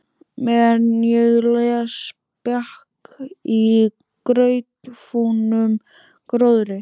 Meðan ég les bjakk í grautfúnum gróðri.